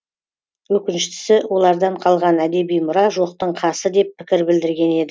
өкініштісі олардан қалған әдеби мұра жоқтың қасы деп пікір білдірген еді